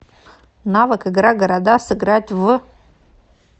навык игра города сыграть в